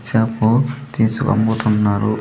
Shampoo తీసి అమ్ముతున్నారు.